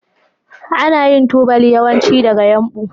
Ana yin tubali yawanci daga yumbu.